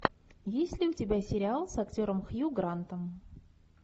есть ли у тебя сериал с актером хью грантом